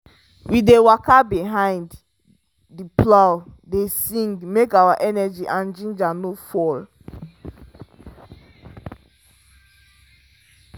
we dey waka behind the plow dey sing make our energy and ginger no fall.